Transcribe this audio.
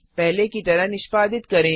पहले की तरह निष्पादित करें